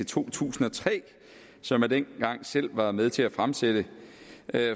to tusind og tre og som man dengang selv var med til at fremsætte